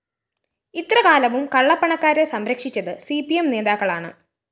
ഇത്ര കാലവും കള്ളപ്പണക്കാരെ സംരക്ഷിച്ചത് സി പി എം നേതാക്കളാണ്